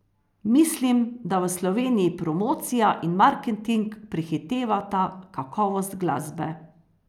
Mislim, da v Sloveniji promocija in marketing prehitevata kakovost glasbe.